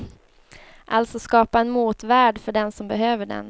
Alltså skapa en motvärld för den som behöver den.